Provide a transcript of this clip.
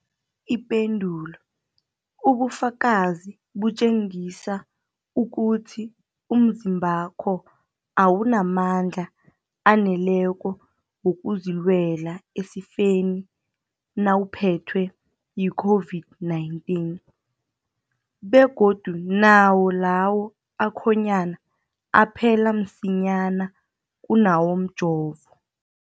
Ipendulo, ubufakazi butjengisa ukuthi umzimbakho awunamandla aneleko wokuzilwela esifeni nawuphethwe yi-COVID-19, begodu nawo lawo akhonyana aphela msinyana kunawomjovo.